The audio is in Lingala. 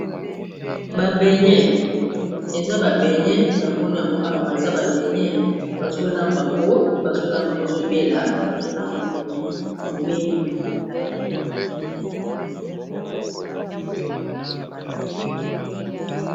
Ba benye eza ba benye na moni yango awa eza ba beyne bazolamba yango bazolambango ezobela bazolambabene ebeli